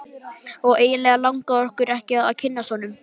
Og eiginlega langaði okkur ekki að kynnast honum.